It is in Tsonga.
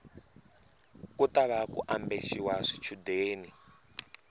ku tava ku ambexiwa swichundeni